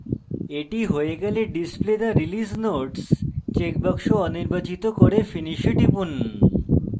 এটি হয়ে গেলে display the release notes checkbox অনির্বাচিত করে finish এ টিপুন